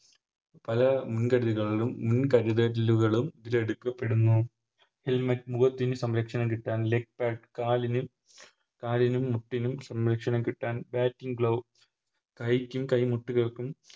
പല മുൻ കരുതകളും മുൻകരുതലുകളും ഇവരെടുക്കപ്പെടുന്നു Helmet മുഖത്തിന് സംരക്ഷണം കിട്ടാൻ Leg bag കാലിന് കാലിനും മുട്ടിനും സംരക്ഷണം കിട്ടാൻ Matching glove കൈക്കും കൈ മുട്ടുകൾക്കും